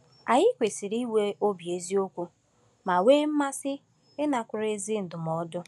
Anyị kwesịrị inwe obi eziokwu ma nwee mmasị ịnakwere ezi ndụmọdụ.